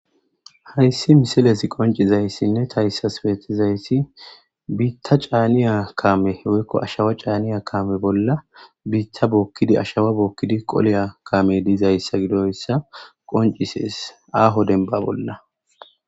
Hayssi misiles qoncizayssinne tayssas peetizayssi biitta caaniya kaame weykko ashawa caaniya kaame bolla biitta bookkidi ashawa bookkidi qoleya kame diizayssa gidoyssa qoncisees aaho denba bolla.